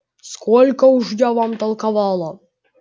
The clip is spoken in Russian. сколько уж я вам толковала